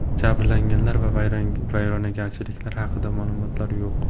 Jabrlanganlar va vayronagarchiliklar haqida ma’lumotlar yo‘q.